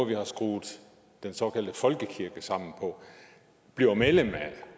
vi har skruet den såkaldte folkekirke sammen på bliver medlem af